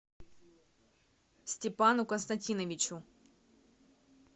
степану константиновичу